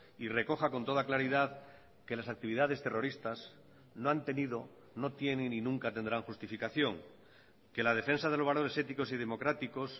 y recoja con toda claridad que las actividades terroristas no han tenido no tienen y nunca tendrán justificación que la defensa de los valores éticos y democráticos